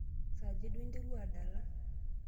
Saaja duo interua adala?